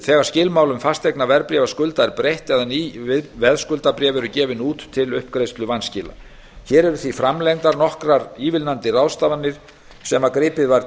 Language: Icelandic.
þegar skilmálum fasteignaveðskuldabréfa er breytt eða ný veðskuldabréf eru gefin út til uppgreiðslu vanskila hér eru því framlengdar nokkrar ívilnandi ráðstafanir sem gripið var